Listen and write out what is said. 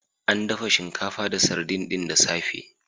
An dafa shinkafa da sardin ɗin da safe.